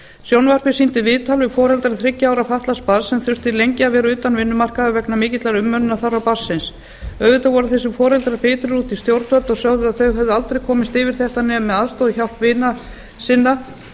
sjónvarpið sýndi viðtal við foreldra þriggja ára fatlaðs barns sem þurftu lengi að vera utan vinnumarkaðar vegna mikillar umönnunarþarfa barnsins auðvitað voru þessir foreldrar bitrir út í stjórnvöld og sögðu að þau hefðu aldrei komið yfir þetta nema með aðstoð og hjálp vina sinna